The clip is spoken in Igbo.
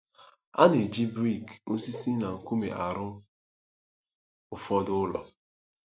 A na-eji brik, osisi, na nkume arụ ụfọdụ ụlọ.